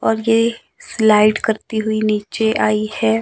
और ये स्लाइड करती हुई नीचे आई है।